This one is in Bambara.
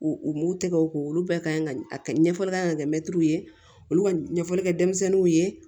U u m'u tɛgɛw ko olu bɛɛ ɲɛfɔli kan ka kɛ mɛtiriw ye olu ka ɲɛfɔli kɛ denmisɛnninw ye